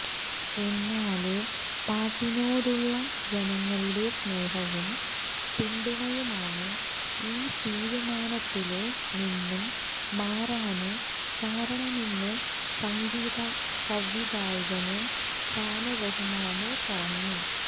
എന്നാല് പാട്ടിനോടുളള ജനങ്ങളുടെ സ്നേഹവും പിന്തുണയുമാണ് ഈ തീരുമാനത്തില് നിന്നും മാറാന് കാരണമെന്ന് സംഗീത സംവിധായകന് ഷാന് റഹ്മാന് പറഞ്ഞു